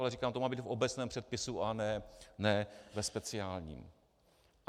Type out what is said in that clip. Ale říkám, to má být v obecném předpisu a ne ve speciálním.